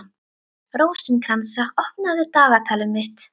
Rósinkransa, opnaðu dagatalið mitt.